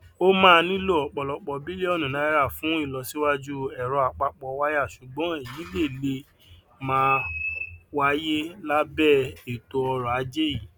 o máa nilo òpòlòpò bilionu naira fun ilosiwaju eroapapowaya sugbon eyi le le maà wáyé labe eto oro aje yii